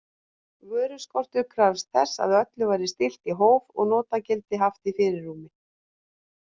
Vöruskortur krafðist þess að öllu væri stillt í hóf og notagildið haft í fyrirrúmi.